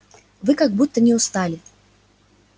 вы как будто не устали